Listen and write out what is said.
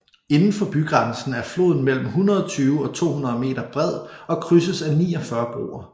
Indenfor bygrænsen er floden mellem 120 og 200 meter bred og krydses af 49 broer